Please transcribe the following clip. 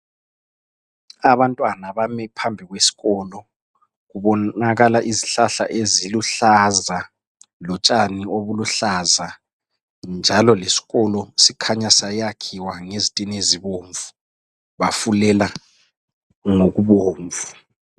Abantwana bami phambi kwesikolo, kubonakala izihlahla eziluhlaza lotshani obuluhlaza. Njalo leskolo sikhanya sayakhiwa ngezitinezibomvu bafulela ngokubomvu.